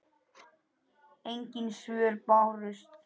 Engin svör bárust.